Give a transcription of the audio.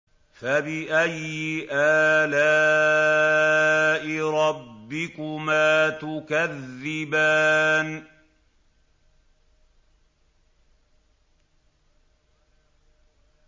فَبِأَيِّ آلَاءِ رَبِّكُمَا تُكَذِّبَانِ